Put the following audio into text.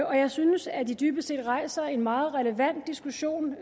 og jeg synes at det dybest set rejser en meget relevant diskussion